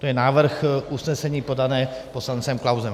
To je návrh usnesení podaný poslancem Klausem.